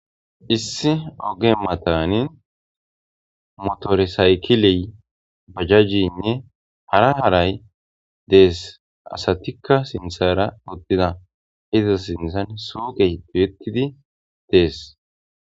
Issi oge matan motore saykilenne bajajeyne hara hara desi asatika sinthani utidi betida dees.